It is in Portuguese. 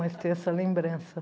Mas tenho essa lembrança.